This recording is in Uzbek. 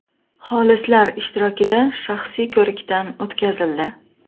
xolislar ishtirokida shaxsiy ko‘rikdan o‘tkazildi.